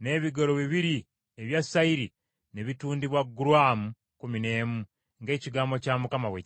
n’ebigero bibiri ebya sayiri ne bitundibwa gulaamu kkumi n’emu, ng’ekigambo kya Mukama bwe kyali.